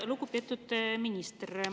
Lugupeetud minister!